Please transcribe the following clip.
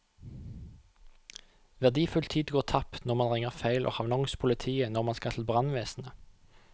Verdifull tid går tapt når man ringer feil og havner hos politiet når man skal til brannvesenet.